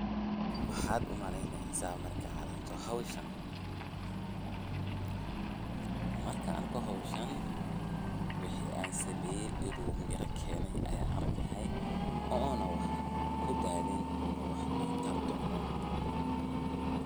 Maxaat u maleyneysah markat aragtoh hooshan, markan arkoh hooshan wixi ansameeye inu Meera keenah arkaahay ano kudalin ee tar donoh .